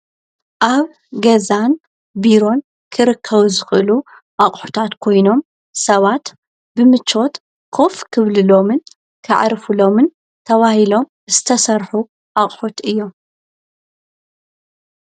ኣብ ገዛን ቢሮን ክርከው ዝኽሉ ኣቕሑታት ኮይኖም ሰባት ብምቾት ኰፍ ክብልሎምን ክዕርፉሎምን ተዋሂሎም እዝተሠርኁ ኣቕሑት እዮም።